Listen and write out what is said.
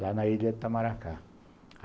lá na ilha de Itamaracá.